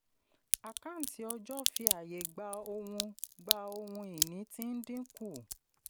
àkáǹtí ọjọ́ fi àyè gba ohun gba ohun ìní tí ń dínkù.